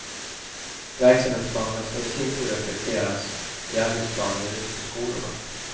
Verksamhetsplanerna skall i sin tur reflekteras i arbetsplaner ute på skolorna.